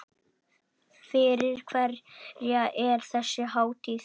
Fyrir hverja er þessi hátíð?